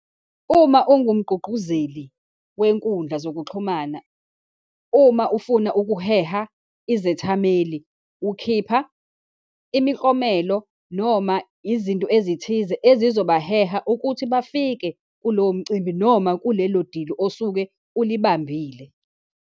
Uma ungumgqugquzeli wenkundla zokuxhumana, uma ufuna ukuheha izethameli, ukhipha imiklomelo, noma izinto ezithize ezizobaheha ukuthi bafike kulowo mcimbi, noma kulelo dili osuke ulibambile.